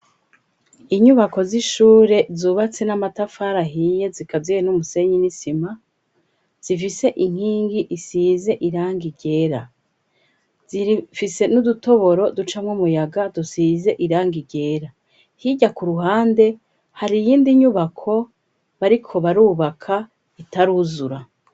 Inyubako z'ishure zubatse n'amatafari ahiye zikaziye n'umusenyi n'isima. Zifise inkingi isize irangi ryera . Zifise n'udutoboro ducamwo umuyaga dusize irangi ryera. Hirya ku ruhande, hari iyindi nyubako bariko barubaka itaruzura.